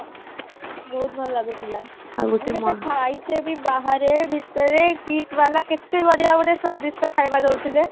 ବହୁତ ଭଲ ଲାଗୁଥିଲା ଆଉ ଗୋଟେ ଖାଇଚେ ବି ବାହାରେ ଭିତରେ KIIT ବାଲା କେତେ ବଢିଆ ବଢିଆ ସ୍ଵାଦିଷ୍ଟ ଖାଇବା ଦଉଥିଲେ